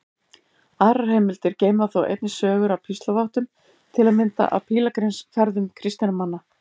Aðrar heimildir geyma þó einnig sögur af píslarvottum, til að mynda af pílagrímsferðum kristinna manna.